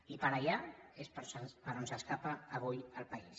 i per allà és per on s’escapa avui el país